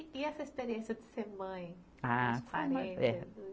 E essa experiência de ser mãe? Ah